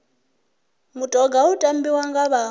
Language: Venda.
mutoga u tambiwa nga vha